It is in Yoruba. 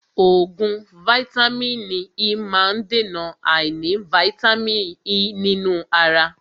Oògùn vàìtamínií E má ń dèna àìní vàìtamínií E nínú ara.